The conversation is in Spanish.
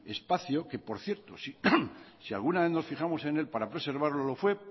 espacio que por cierto si alguna vez nos fijamos en él para preservarlo lo fue